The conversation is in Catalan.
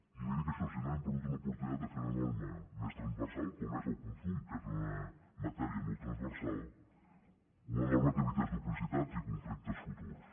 i li dic això si no hem perdut una oportunitat de fer una norma més transversal com és el consum que és una matèria molt transversal una norma que evités duplicitats i conflictes futurs